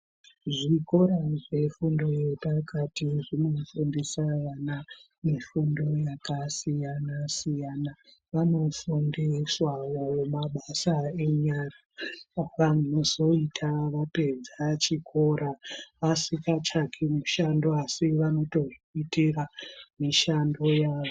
Zvikora zvefundo yepakati zvinofundisa vana mifundo yakasiyana-siyana. Vanofundiswawo mabasa enyara avanozoita vapedza chikora vasingatsvaki mushando asi vanotozviitira mishando yavo.